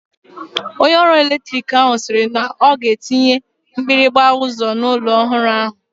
Onye ọrụ eletrik ahụ sịrị na ọ ga-etinye mgbịrịgba ụzọ n'ụlọ ọhụrụ ahụ.